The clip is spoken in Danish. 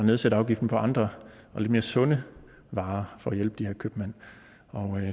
nedsætte afgiften på andre og lidt mere sunde varer for at hjælpe de her købmænd